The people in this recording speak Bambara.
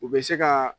U bɛ se ka